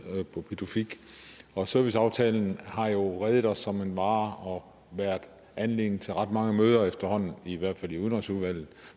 på pituffik og serviceaftalen har jo redet os som en mare og været anledning til ret mange møder efterhånden i hvert fald i udenrigsudvalget